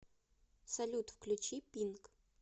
салют включи пинк